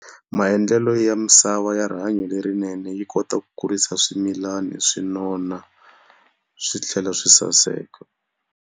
Maendlelo ya misava ya rihanyo lerinene yi kota ku kurisa swimilana swi nona, swi tlhela swi saseka.